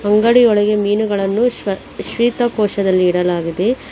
ಅಂಗಡಿಯೊಳಗೆ ಮೀನುಗಳನ್ನು ಶ್ವ ಶ್ವೇತ ಕೋಶದಲ್ಲಿ ಇಡಲಾಗಿದೆ.